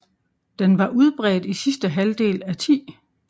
Den var udbredt i sidste halvdel af 10